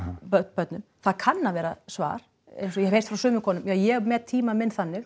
börnin það kann að vera svar eins og ég hef heyrt frá sumum konum já ég met tíma minn þannig